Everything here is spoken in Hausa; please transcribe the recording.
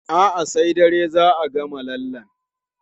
A'a, sai dare za a gama lallen.